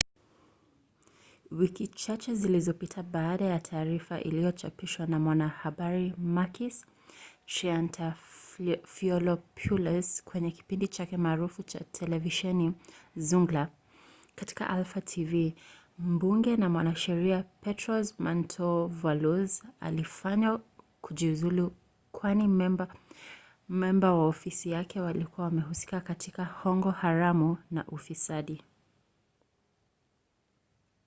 wiki chache zilizopita baada ya taarifa iliyochapishwa na mwanahabari makis triantafylopoulos kwenye kipindi chake maarufu cha televisheni zoungla katika alpha tv mbunge na mwanasheria petros mantouvalos alifanywa kujiuzulu kwani memba wa ofisi yake walikuwa wamehusika katika hongo haramu na ufisadi